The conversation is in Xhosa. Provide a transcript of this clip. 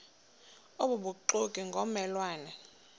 obubuxoki ngomme lwane